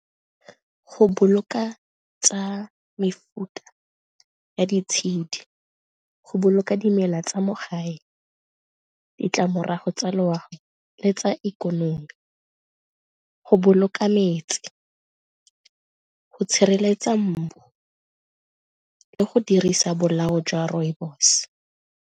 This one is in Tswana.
Go boloka tsa mefuta ya ditshedi go boloka dimela tsa mo gae, ditlamorago tsa loago le tsa ikonomi, go boloka metsi, go tshireletsa mmu le go dirisa bolao jwa rooibos.